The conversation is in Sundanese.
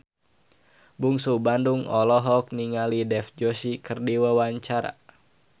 Bungsu Bandung olohok ningali Dev Joshi keur diwawancara